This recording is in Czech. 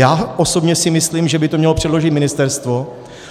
Já osobně si myslím, že by to mělo předložit ministerstvo,